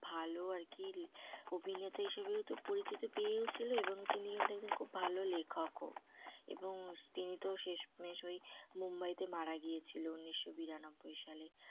ভালো আরকি অভিনেতা হিসেবেও তো পরিচিত পেয়েও ছিল এবং তিনি কিন্তু একজন খুব ভালো লেখক ও এবং তিনি তো শেষ মেষ ওই মুম্বাইতে মারা গিয়েছিল। ঊনিশ শো বিরানব্বই সালে।